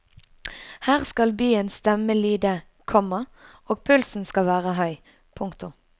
Her skal byens stemme lyde, komma og pulsen skal være høy. punktum